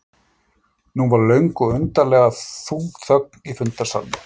Nú varð löng og undarlega þung þögn í fundarsalnum.